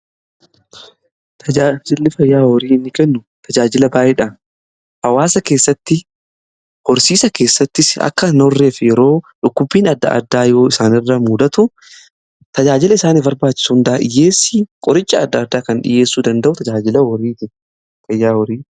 Tajaajilli fayyaa horii inni kennu tajaajila baay'eedha. Hawaasa keessatti horsiisa keessatti akka hin horreef yeroo dhukkubbiin adda addaa yoo isaan irra mudatu tajaajila isaaniif barbaachis hundaa dhiyyeessii qoricha adda addaa kan dhiyyeessuu danda'u tajaajila fayyaa horiiti.